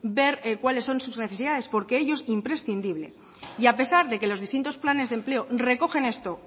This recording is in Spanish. ver cuáles son sus necesidades porque ello es imprescindible y a pesar de que los distintos planes de empleo recogen esto